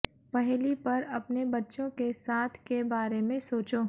पहेली पर अपने बच्चों के साथ के बारे में सोचो